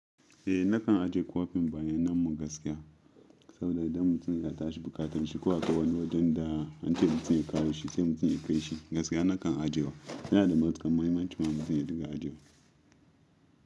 Eh nakan ajiye kwafin bayannan mu gaskiya saboda idan mutum ya tashi bukatanshi ko akwai wani wajen da an ce mutum ya kawo shi sai mutum ya kai shi gaskiya nakan ajiye wa. Yana da matukar muhimmanci ma mutum ya din ga ajiyewa.